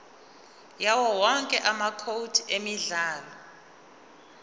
yawowonke amacode emidlalo